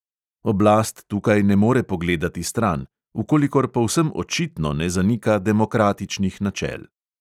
Oblast tukaj ne more pogledati stran, v kolikor povsem očitno ne zanika demokratičnih načel.